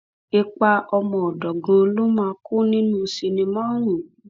ipa ọmọọdọ gan-an ló máa kó nínú sinimá ọhún